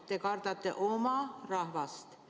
Te kardate oma rahvast.